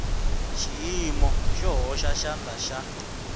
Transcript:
xiyimo xo hoxa xandla xa